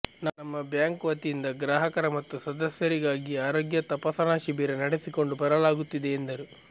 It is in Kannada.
ನಮ್ಮ ಬ್ಯಾಂಕ್ ವತಿಯಿಂದ ಗ್ರಾಹಕರ ಮತ್ತು ಸದಸ್ಯರಿಗಾಗಿ ಆರೋಗ್ಯ ತಪಾಸಣಾ ಶಿಬಿರ ನಡೆಸಿಕೊಂಡು ಬರಲಾಗುತ್ತಿದೆ ಎಂದರು